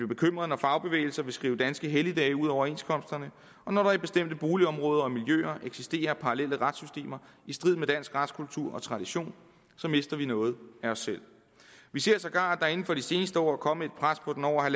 bekymret når fagbevægelsen vil skrive danske helligdage ud af overenskomsterne og når der i bestemte boligområder og miljøer eksisterer parallelle retssystemer i strid med dansk retskultur og tradition så mister vi noget af os selv vi ser sågar at der inden for de seneste år er kommet et pres på den over